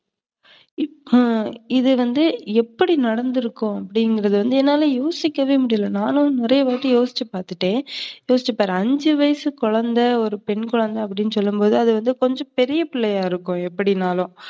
ஆஹ் இது வந்து எப்படி நடந்துருக்கும் அப்டின்றது வந்து என்னால யோசிக்கவே முடியல. நான்லாம் நறையவாட்டி யோசிச்சு பாத்துட்டேன். யோசிச்சுப்பாரு அஞ்சு வயசு குழந்தை, ஒரு பெண் குழந்த அப்டினு சொல்லும்போது அதுவந்து கொஞ்சம் பெரிய பிள்ளையா இருக்கும் எப்டினாலும்